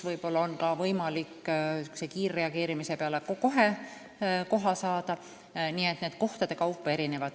Vahel on võimalik ka kiirreageerimise peale kohe koht saada.